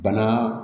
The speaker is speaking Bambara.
Bana